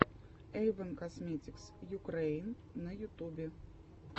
эйвон косметикс юкрэин на ютубе